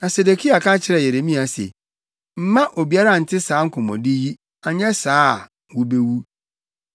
Na Sedekia ka kyerɛɛ Yeremia se, “Mma obiara nte saa nkɔmmɔdi yi, anyɛ saa a, wubewu.